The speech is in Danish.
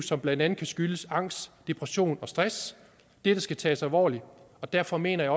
som blandt andet kan skyldes angst depression og stress dette skal tages alvorligt og derfor mener jeg